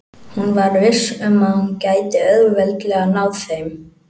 Hún var viss um að hún gæti auðveldlega náð þeim.